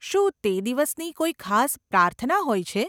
શું તે દિવસની કોઈ ખાસ પ્રાર્થના હોય છે?